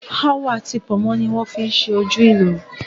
Awọ ati pònmó ni wón fi ṣe ojú ìlù